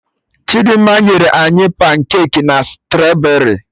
Chidimma nyere anyị pancaki na straberri